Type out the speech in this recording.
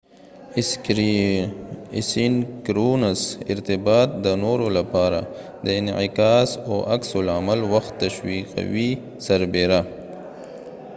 اسینکرونس ارتباط د نورو لپاره د انعکاس او عکس العمل وخت تشويقوي سربیره